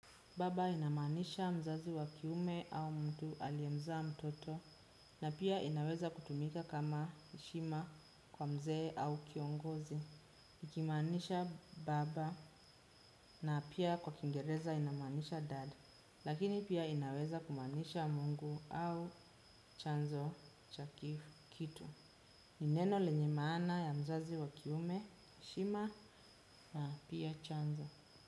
Baba inamaanisha mzazi wa kiume au mtu aliyemzaa mtoto na pia inaweza kutumika kama heshima kwa mzee au kiongozi. Ikimaanisha baba na pia kwa kiingereza inamaanisha dad. Lakini pia inaweza kumaanisha mungu au chanzo cha kitu. Ni neno lenye maana ya mzazi wa kiume, heshima na pia chanzo.